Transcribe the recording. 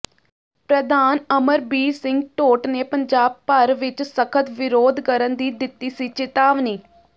ਪ੍ਰਧਾਨ ਅਮਰਬੀਰ ਸਿੰਘ ਢੋਟ ਨੇ ਪੰਜਾਬ ਭਰ ਵਿਚ ਸਖ਼ਤ ਵਿਰੋਧ ਕਰਨ ਦੀ ਦਿੱਤੀ ਸੀ ਚਿਤਾਵਨੀ